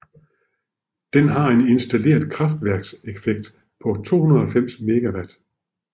Den har en installeret kraftværkeffekt på 290 MW